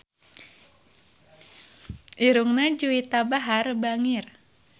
Irungna Juwita Bahar bangir